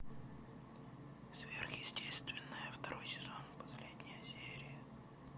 сверхъестественное второй сезон последняя серия